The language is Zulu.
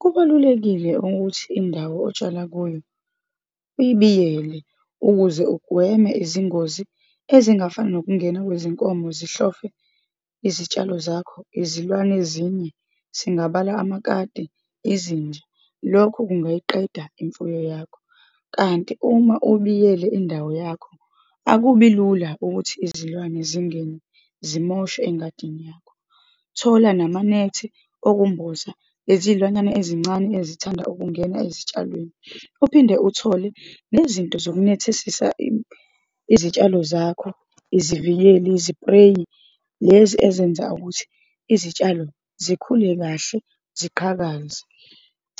Kubalulekile ukuthi indawo otshala kuyo uyibiyele, ukuze ugweme izingozi ezingafana nokungena kwezinkomo, zihlofe izitshalo zakho, izilwane ezinye, singabala amakati, izinja, lokhu kungayiqeda imfuyo yakho. Kanti uma ubiyele indawo yakho, akubi lula ukuthi izilwane zingene zimoshe engadini yakho. Thola namanethi okumboza lezilwane ezincane ezithanda ukungena ezitshalweni. Uphinde uthole nezinto zokunethesisa izitshalo zakho, izivikeli, izipreyi, lezi ezenza ukuthi izitshalo zikhule kahle, ziqhakaze.